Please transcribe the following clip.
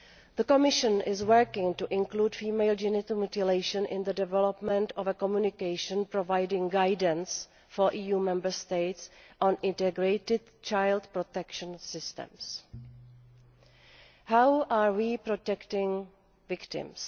The Commission is working to include female genital mutilation in the development of a communication providing guidance for EU Member States on integrated child protection systems. How are we protecting victims?